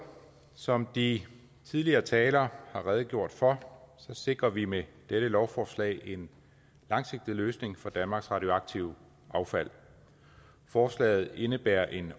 som de tidligere talere har redegjort for sikrer vi med dette lovforslag en langsigtet løsning for danmarks radioaktive affald forslaget indebærer en